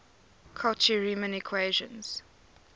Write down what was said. cauchy riemann equations